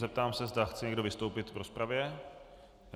Zeptám se, zda chce někdo vystoupit v rozpravě.